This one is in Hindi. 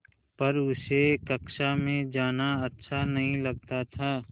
पर उसे कक्षा में जाना अच्छा नहीं लगता था